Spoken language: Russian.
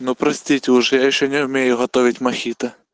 ну простите уже я ещё не умею готовить мохито